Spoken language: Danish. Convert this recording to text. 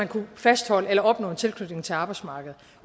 kunne fastholde eller opnå en tilknytning til arbejdsmarkedet